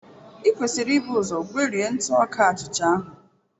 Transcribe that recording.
I kwesịrị ibu ụzọ gwerie ntụ ọka achịcha ahụ.